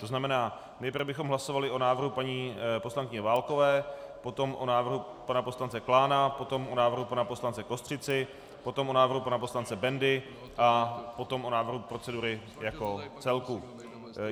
To znamená, nejprve bychom hlasovali o návrhu paní poslankyně Válkové, potom o návrhu pana poslance Klána, potom o návrhu pana poslance Kostřici, potom o návrhu pana poslance Bendy a potom o návrhu procedury jako celku.